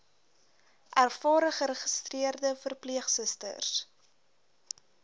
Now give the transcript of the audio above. ervare geregistreerde verpleegsusters